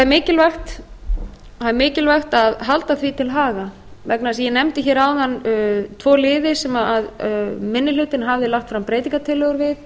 mikilvægt er að halda því til haga vegna þess að ég nefndi hér áðan tvo liði sem minni hlutinn hafði lagt fram breytingartillögur við